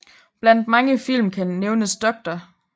Blandt mange film kan nævnes Dr